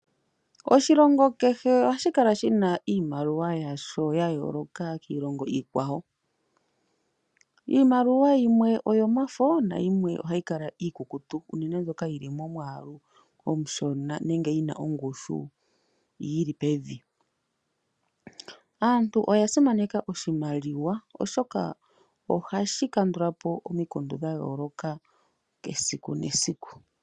Oshilongo kehe ohashi kala shi na iimaliwa yasho ya yooloka kiilongo iikwawo. Iimaliwa yimwe oyomafo nayimwe ohayi kala iikukutu unene mbyoka yi li momwaalu omushona nenge yi na ongushu yi li pevi. Aantu oya simaneka oshimaliwa oshoka ohashi kandula po omikundu dha yooloka esiku nesiku.